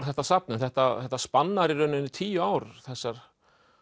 þetta safn en þetta spannar í raun tíu ár þessar